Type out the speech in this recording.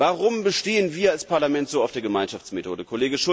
Test an. Warum bestehen wir als Parlament so auf der Gemeinschaftsmethode?